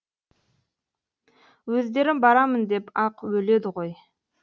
өздері барамын деп ақ өледі ғой